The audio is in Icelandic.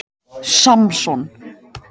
Samson